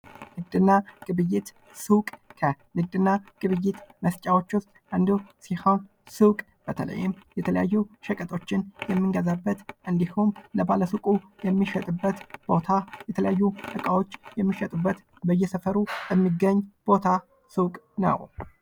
ንግድና ግብይት ሱቅ ከንግድና ግብይት መስጫዎች ዉስጥ አንዱ ሲሆን ሱቅ በተለይም የተለዩ ሸቀጦችን የምንገዛበት እንዲሁም ለባለ ሱቁ የሚሸጥበት ቦታ እቃዎች የሚሸጡበት በየሰፈሩ የሚገኝ ቦታ ሱቅ ነዉ።